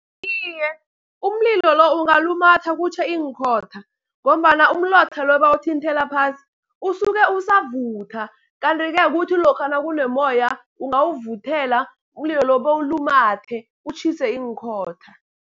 Iye, umlilo lo ungalumatha kutjhe iinkhotha, ngombana umlotha lo ebawuthinthela phasi usuke usavutha. Kanti-ke kuthi lokha nakunomoya, ungawuvuthela umlilo lo bewulumathe utjhise iinkhotha.